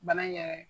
Bana in yɛrɛ